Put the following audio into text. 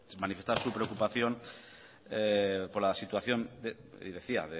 manifestaba su preocupación por la situación y decía